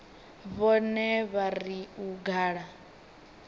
vhone vha ri u gala